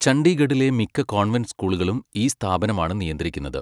ചണ്ഡീഗഢിലെ മിക്ക കോൺവെന്റ് സ്കൂളുകളും ഈ സ്ഥാപനമാണ് നിയന്ത്രിക്കുന്നത്.